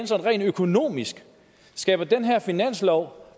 sådan rent økonomisk skaber den her finanslov